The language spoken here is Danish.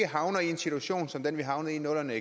havner i en situation som den vi havnede i i nullerne